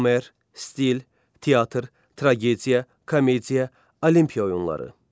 Homer, stil, teatr, tragediya, komediya, Olimpiya oyunları.